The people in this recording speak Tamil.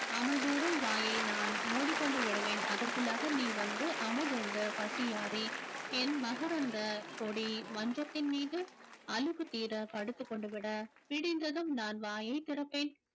அமுதூறும் வாயை நான் மூடிக்கொண்டு விடுவேன் அதற்குள்ளாக நீ வந்து அமுதுண்டு பசியாறி என் மகரந்த கொடி மஞ்சத்தின் மீது அலுப்பு தீர படுத்துக்கொண்டு விட விடிந்ததும் நான் வாயை திறப்பேன்